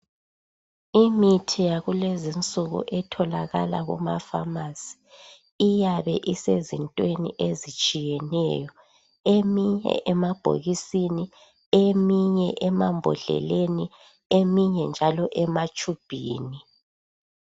Imithi yakulezi insuku etholakala kuma"pharmacy" iyabe isezintweni ezitshiyeneyo. Eminye emabhokisini, eminye emambodleleni eminye njalo ematshubhini.